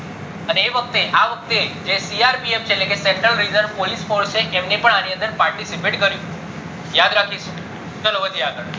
અને એ વખતે આ વખતે જે CRPF છે એટલે central reserve police force એમને પણ અની અંદર participate કર્યું હતું યાદ રાખીસુ ચાલો વધીએ આગળ